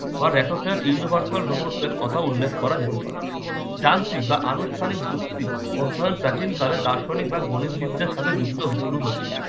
universal robot এর কথা উল্লেখ করা যেতে পারে। যান্ত্রিক বা আনুষ্ঠানিক যুক্তি অধ্যায়ন প্রাচীনকালে দার্শনিক বা গণিত বিদ্যার সাথে যুক্ত শুরু হয়েছিল।